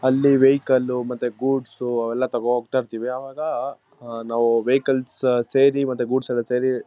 ಅಲ್ಲಿ ವೆಹಿಕಲ್ ಮತ್ತೆ ಗೂಡ್ಸ್ ಅವು ಎಲ್ಲ ತಗೊ ಹೋಗ್ತಾ ಇರ್ತೀವಿ. ಅವಾಗ ನಾವ್ ವೆಹಿಕಲ್ಸ್ ಸೇರಿ ಮತ್ತೆ ಗೂಡ್ಸ್ ಎಲ್ಲ ಸೇರಿ--